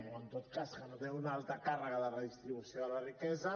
o en tot cas que no té una alta càrrega de redistribució de la riquesa